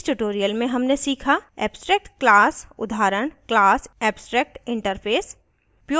इस tutorial में हमने सीखा abstract class उदाहरण class abstractinterface